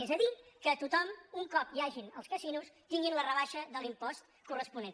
és a dir que tothom un cop hi hagin els casinos tingui la rebaixa de l’impost cor·responent